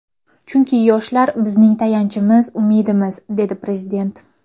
Chunki yoshlar bizning tayanchimiz, umidimiz”, dedi Prezident.